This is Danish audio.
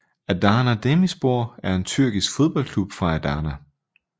Adana Demirspor er en tyrkisk fodboldklub fra Adana